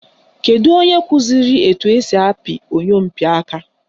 Kedu onye kụziri etu esi apị oyompịaka?